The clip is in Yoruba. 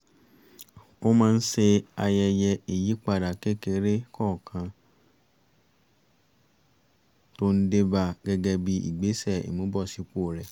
ó máa ń ṣe ayẹyẹ ìyípadà kékeré kọ̀ọ̀kan tó ń dé ba gẹ́gẹ́ bí ìgbésẹ̀ ìmúbọ̀sípò rẹ̀